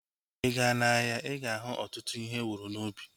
Ịga n'ahia, ịga ahu ọtụtụ ihe ewuru n'ubi